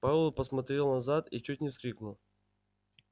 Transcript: пауэлл посмотрел назад и чуть не вскрикнул